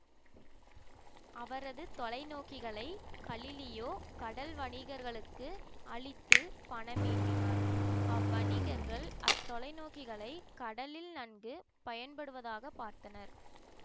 அவரது தொலைநோக்கிகளை கலிலியோ கடல்வணிகர்களுக்கு அளித்து பணம் ஈட்டினார் அவ்வணிகர்கள் அத்தொலை நோக்கிகளை கடலில் நன்கு பயன்படுவதாக பார்த்தனர்